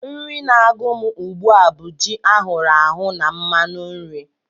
Nri na-agụ m ugbu a bụ ji ahụrụ ahụ na mmanụ nri